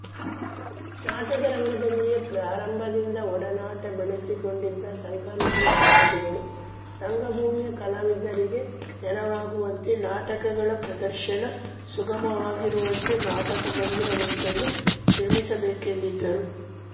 ನಾಟಕರಂಗದಲ್ಲಿಯೇ ಪ್ರಾರಂಭದಿಂದ ಒಡನಾಟ ಬೆಳೆಸಿಕೊಂಡಿದ್ದ ಶಂಕರನಾಗ್ ದಂಪತಿಗಳು ರಂಗಭೂಮಿಯ ಕಲಾವಿದರಿಗೆ ನೆರವಾಗುವಂತೆ ನಾಟಕಗಳ ಪ್ರದರ್ಶನ ಸುಗಮವಾಗಿರುವಂತೆ ನಾಟಕಮಂದಿರವೊಂದನ್ನು ನಿರ್ಮಿಸಬೇಕೆಂದಿದ್ದರು